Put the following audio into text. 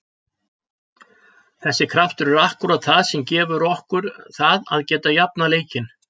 Þessi kraftur er akkúrat það sem gefur okkur það að geta jafnað leikinn.